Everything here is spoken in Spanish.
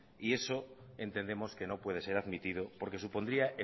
y eso entendemos que no puede ser admitido porque supondría